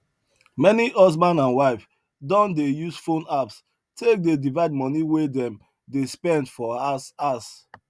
many husband and wife don dey use phone apps take dey divide money wey dem dey spend for house house